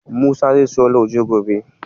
Musa zai siyo lauje gobe.